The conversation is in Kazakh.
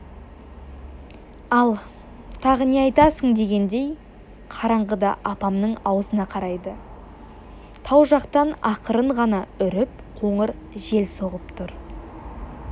ал тағы не айтасың дегендей қараңғыда апамның аузына қарайды тау жақтан ақырын ғана үріп қоңыр жел соғып тұр